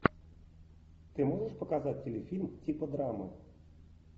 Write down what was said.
ты можешь показать телефильм типа драмы